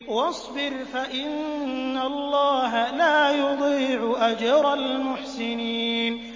وَاصْبِرْ فَإِنَّ اللَّهَ لَا يُضِيعُ أَجْرَ الْمُحْسِنِينَ